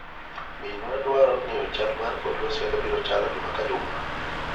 Min wa dwaro ng'eyo chal mar kor lwasi kaka obiro chalo juma ka ajuma